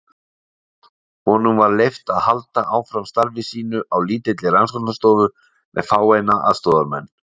Honum var leyft að halda áfram starfi sínu á lítilli rannsóknarstofu með fáeina aðstoðarmenn.